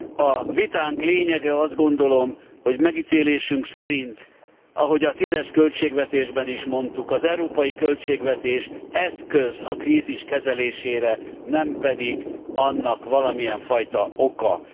A vitánk lényege azt gondolom, hogy megítélésünk szerint ahogy a 2010 es költségvetésben is mondtuk az európai költségvetés eszköz a krízis kezelésére, nem pedig annak valamilyen fajta oka.